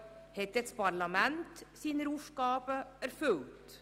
Hat denn das Parlament seine Aufgaben erfüllt?